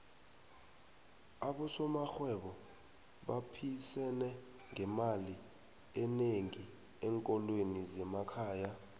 abosomarhwebo baphisene ngemali enengi enkolweni zemakhaya